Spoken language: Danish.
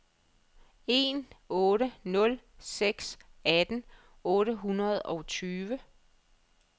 en otte nul seks atten otte hundrede og tyve